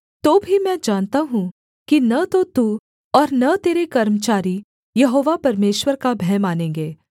तो भी मैं जानता हूँ कि न तो तू और न तेरे कर्मचारी यहोवा परमेश्वर का भय मानेंगे